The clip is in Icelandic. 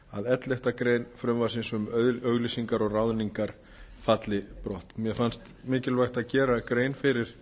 að elleftu greinar frumvarpsins um auglýsingar og ráðningar falli brott mér fannst mikilvægt að gera gera fyrir